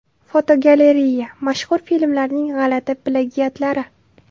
Fotogalereya: Mashhur filmlarning g‘alati plagiatlari.